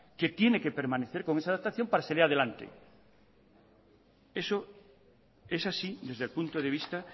que tiene que permanecer con esa adaptación para salir adelante eso es así desde el punto de vista